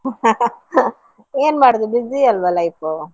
ಏನ್ ಮಾಡುದು busy ಅಲ್ವ life ಉ.